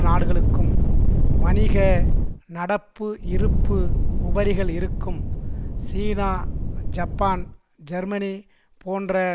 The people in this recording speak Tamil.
நாடுகளுக்கும் வணிக நடப்பு இருப்பு உபரிகள் இருக்கும் சீனா ஜப்பான் ஜெர்மனி போன்ற